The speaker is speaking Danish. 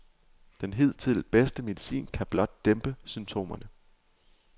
Den hidtil bedste medicin kan blot dæmpe symptomerne.